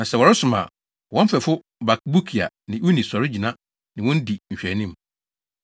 Na sɛ wɔresom a, wɔn mfɛfo Bakbukia ne Uni sɔre gyina ne wɔn di nhwɛanim.